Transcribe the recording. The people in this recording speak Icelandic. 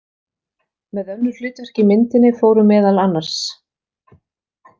Með önnur hlutverk í myndinni fóru meðal annars.